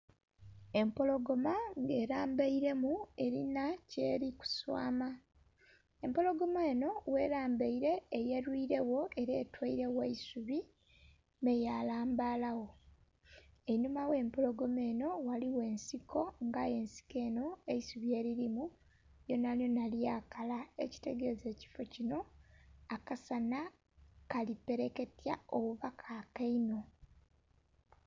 Empologoma nga elambairemu elina kyeli kuswama, empologoma eno ghelambaire eyelwiregho ela etwairegho eisubi me yalambala gho. Enhuma gh'empologoma eno ghaligho ensiko nga aye ensiko eno eisubi elirimu lyonalyona lyakala ekitegeeza ekiffo kino akasana kali pereketya oba kaaka inho.